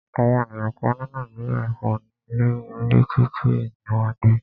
Àwọn ènìyàn kán ní Nàìjíríà kò ní ilé, orí títì ní wọn ń gbé.